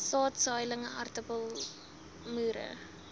saad saailinge aartappelmoere